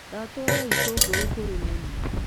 Ndatwara itũngũrũ kũri mami